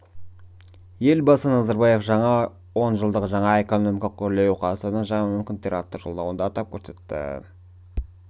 елбасы назарбаев жаңа онжылдық жаңа экономикалық өрлеу қазақстанның жаңа мүмкіндіктері атты жолдауында атап көрсетіп өтті